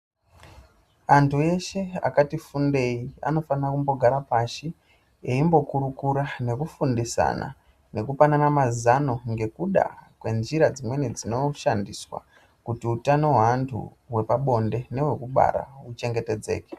Andu eshe akati fundei anofanira kumbogara pashi eimbokurukura nekufundisana nekupanana mazano ngekuda kwenjira dzimweni dzinoshandiswa kuti utano hweantu hwepabonde nehwekubara huchengetedzeke.